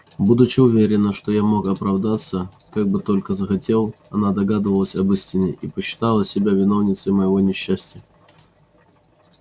будучи уверена что я мог оправдаться как бы только захотел она догадывалась об истине и почитала себя виновницей моего несчастья